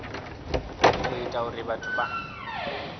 u ita uri vhathu vha